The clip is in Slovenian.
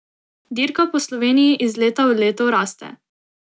Dirka po Sloveniji iz leta v leto raste.